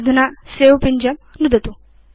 अधुना सवे पिञ्जं नुदतु